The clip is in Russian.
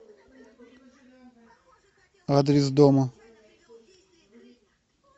адрес дома